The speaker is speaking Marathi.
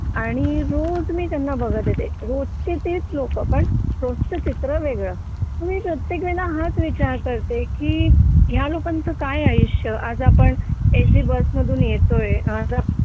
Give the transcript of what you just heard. आणि रोज मी त्यांना बघत येते पण रोजची तीच लोक पण रोज चित्र वेगळे मी प्रत्येक वेळा हाच विचार करते की ह्या लोकांचे काय आयुष्य आज आपण एसी बस मधून येतोय आज आपण